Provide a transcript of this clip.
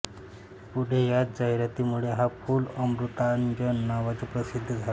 पुढे याच जाहिरातीमुळे हा पूल अमृतांजन नावाने प्रसिद्ध झाला